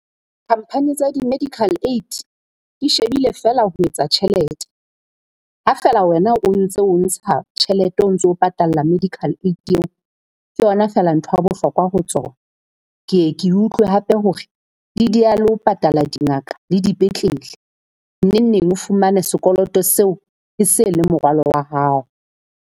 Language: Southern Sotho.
Khampani tsa di-medical aid di shebile feela ho etsa tjhelete. Ha feela wena o ntse o ntsha tjhelete o ntso patalla medical aid eo, ke yona feela ntho ya bohlokwa ho tsona. Ke e ke utlwe hape hore e dieha le ho patala dingaka le dipetlele. Neng neng o fumane sekoloto seo e se le morwalo wa hao.